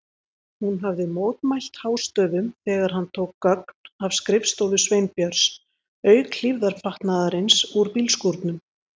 Hún hafði mótmælt hástöfum þegar hann tók gögn af skrifstofu Sveinbjörns, auk hlífðarfatnaðarins úr bílskúrnum.